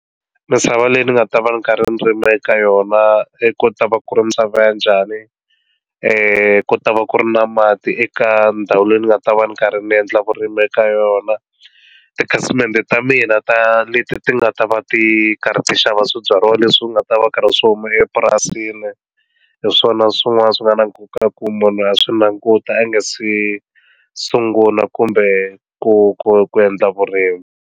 Misava leyi ni nga ta va ni ka ririmi eka yona ku ta va ku ri misava ya njhani ku ta va ku ri na mati eka ndhawu leyi ni nga ta va ni karhi ni endla vurimi eka yona tikhasimende ta mina ta leti ti nga ta va ti karhi ti xava swibyariwa leswi u nga ta va karhi swo huma epurasini hi swona swin'wana swi nga na nkoka ku munhu a swi languta a nga se sungula kumbe ku ku ku endla vurimi.